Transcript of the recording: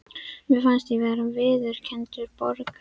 Mér fannst ég vera viðurkenndur borgari.